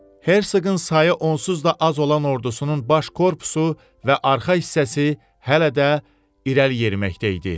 Hersoqun sayı onsuz da az olan ordusunun baş korpusu və arxa hissəsi hələ də irəli yeriməkdə idi.